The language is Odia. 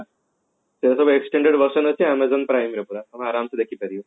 extended version ଅଛି amazon prime ରେ ପୁରା ଆରମ ସେ ଦେଖି ପାରିବ